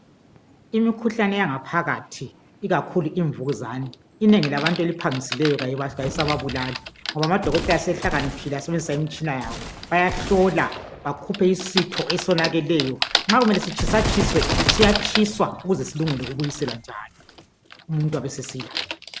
Imikhuhlane yangaphakathi ikakhulu imvukuzane, inengi labantu eliphangisileyo kayisababulali ngoba amadokotela sehlakaniphile asebenzisa imitshina yabo. Bayahlola bakhuphe isitho esonakeleyo, nxa kumele sitshiswatshiswe, siyatshiswa ukuze silungele ukubuyiselwa njalo umuntu abesesila.